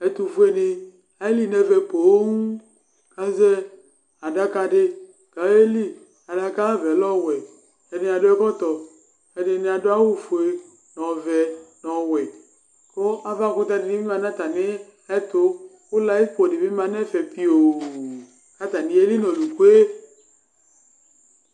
Etʋfue ni eli nʋ efɛ poo azɛ adakadi kʋ ayeli kʋ adaka ayʋ avɛ lɛ ɔwɛ ɛdi adʋ ɛkɔtɔ ɛdini adʋ awʋfue nʋ ɔvɛ nʋ ɔwɛ kʋ ava kʋtɛ dibi manʋ atami ɛtʋ kʋ layipo di manʋ ɛfɛ pioo kʋ atani eli nʋ ɔlʋkʋe